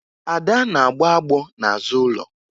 Ada na-agbọ agbọ n'azụ ụlọ